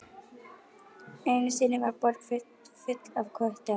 Einu sinni var borg full af köttum.